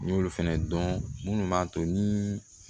N y'olu fɛnɛ dɔn munnu b'a to ni